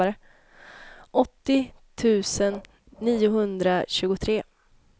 åttio tusen niohundratjugotre